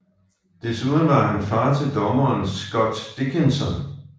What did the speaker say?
Derudover var han far til dommeren Scott Dickinson